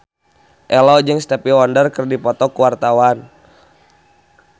Ello jeung Stevie Wonder keur dipoto ku wartawan